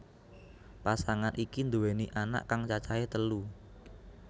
Pasangan iki nduweni anak kang cacahé telu